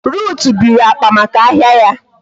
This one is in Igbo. Ruth biri akpa maka ahia ya